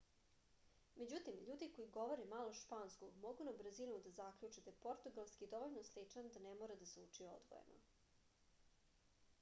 međutim ljudi koji govore malo španskog mogu na brzinu da zaključe da je portugalski dovoljno sličan da ne mora da se uči odvojeno